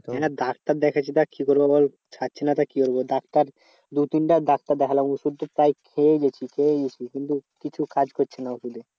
Doctor দেখাচ্ছি দেখ কি করবো বল? ছাড়ছেনা তো কি বলবো? ডাক্তার দু তিনবার ডাক্তার দেখলাম ওষুধতো প্রায় খেয়েই যাচ্ছি খেয়েই যাচ্ছি। কিন্তু কিছু কাজ করছে না ওষুধে।